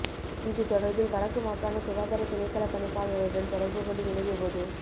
இது தொடர்பில் வடக்கு மாகாண சுகாதார திணைக்களப் பணிப்பாளருடன் தொடர்பு கொண்டு வினவிய போது